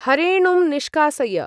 हरेणुं निष्कासय।